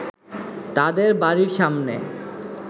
তাদের বাড়ির সামনে